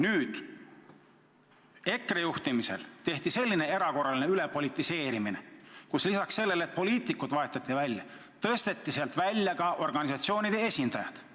Nüüd tehti EKRE juhtimisel selline erakorraline ülepolitiseerimine, kus lisaks sellele, et poliitikud vahetati välja, tõsteti sealt välja ka organisatsioonide esindajad.